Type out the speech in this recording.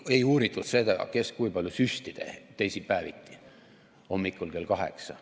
Ei uuritud seda, kes kui palju süsti tegi teisipäeviti hommikul kell kaheksa.